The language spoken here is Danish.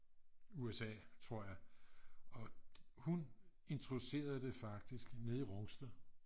USA tror jeg og hun introducerede det faktisk nede i Rungsted